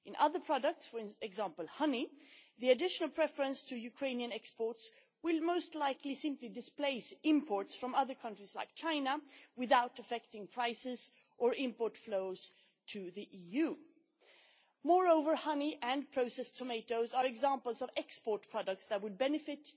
In the case of other products, for example honey, the additional preference to Ukrainian exports will most likely simply displace imports from other countries, such as China, without affecting prices or import flows to the EU. Moreover, honey and processed tomatoes are examples of export products that will benefit